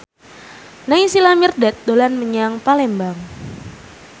Naysila Mirdad dolan menyang Palembang